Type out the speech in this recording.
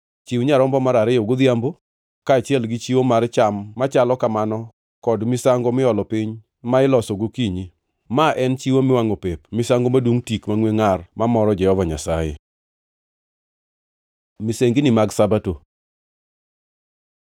Chiw nyarombo mar ariyo godhiambo, kaachiel gi chiwo mar cham machalo kamano kod misango miolo piny ma iloso gokinyi. Ma en chiwo miwangʼo pep, misango madungʼ tik mangʼwe ngʼar mamoro Jehova Nyasaye. Misengini mag Sabato